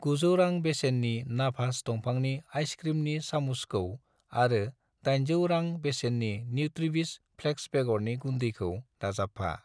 900 रां बेसेननि नाभास दंफांनि आइस क्रिमनि सामसखौ आरो 800 रां बेसेननि न्युट्रिविस फ्लेक्स बेगरनि गुन्दैखौ दाजाबफा।